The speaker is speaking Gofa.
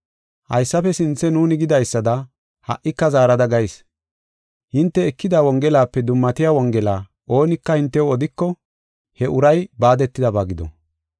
Haysafe sinthe nuuni gidaysada ha77ika zaarada gayis. Hinte ekida Wongelape dummatiya Wongela oonika hintew odiko he uray baadetidaba gido.